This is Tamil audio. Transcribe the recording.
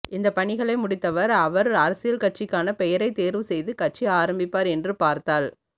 இந்த பணிகளை முடித்தவர் அவர் அரசியல் கட்சிக்கான பெயரை தேர்வு செய்து கட்சி ஆரம்பிப்பார் என்று பார்த்தால்